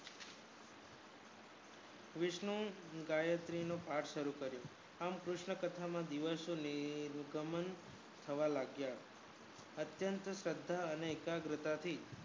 વિષ્ણુ એ ગાયત્રી નો પાઠ શરુ કર્યો આમ અત્યંત શ્રધા અને એકાગ્રતા થી